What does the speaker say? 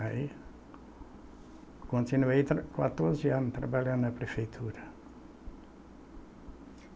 Aí continuei tra, quatorze anos trabalhando na prefeitura.